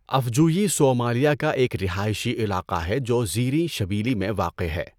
افجویی Somalia کا ایک رہائشی علاقہ ہے جو زیریں شبیلی میں واقع ہے۔